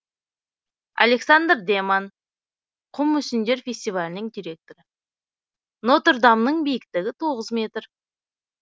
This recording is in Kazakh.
александр деман құм мүсіндер фестивалінің директоры нотр дамның биіктігі тоғыз метр